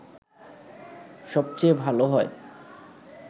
সবচেয়ে ভালো হয়